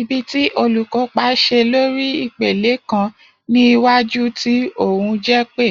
ibi ti olukopa ṣe lori ipele kan ni iwaju ti ohun jepe.